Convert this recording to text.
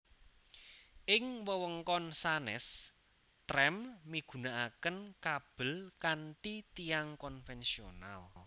Ing wewengkon sanés trem migunakaken kabel kanthi tiang konvensional